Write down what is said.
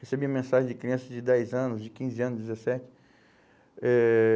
Recebi mensagem de crianças de dez anos, de quinze anos, dezessete, Eh